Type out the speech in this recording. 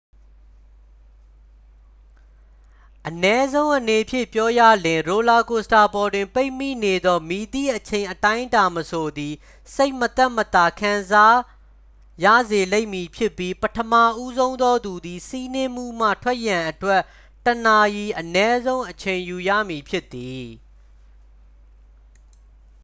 အနည်းဆုံးအနေဖြင့် ပြောရလျှင် ရိုလာကိုစတာပေါ်တွင် ပိတ်မိနေသော မည်သည့်အချိန်အတိုင်းအတာမဆိုသည် စိတ်မသက်မသာ ခံစားရစေလိမ့်မည်ဖြစ်ပြီး ပထမဦးဆုံးသောသူသည် စီးနင်းမှုမှ ထွက်ရန်အတွက် တစ်နာရီ အနည်းဆုံး အချိန်ယူရမည်ဖြစ်သည်